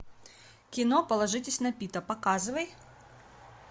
кино положитесь на пита показывай